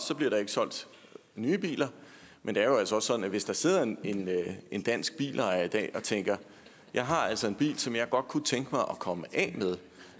bliver der ikke solgt nye biler men det er jo altså også sådan at hvis der sidder en en dansk bilejer i dag og tænker jeg har altså en bil som jeg godt kunne tænke mig at komme af med